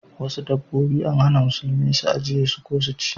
Wasu dabbobi an hana musulmi su ajiye ko su ci.